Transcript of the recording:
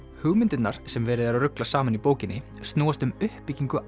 hugmyndirnar sem verið er að rugla saman í bókinni snúast um uppbyggingu